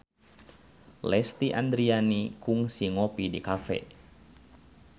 Lesti Andryani kungsi ngopi di cafe